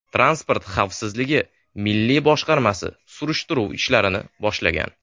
Transport xavfsizligi milliy boshqarmasi surishtiruv ishlarini boshlagan.